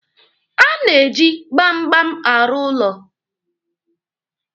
A na-eji gbamgbam arụ ụlọ.